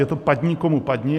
Je to padni, komu padni.